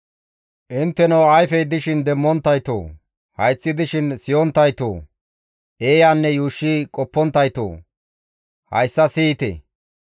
Intteno Ayfey dishin demmonttaytoo! Hayththi dishin siyonttaytoo! Eeyanne yuushshi qopponttaytoo! Hayssa siyite!